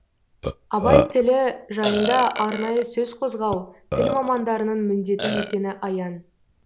абай тілі жайында арнайы сөз қозғау тіл мамандарының міндеті екені аян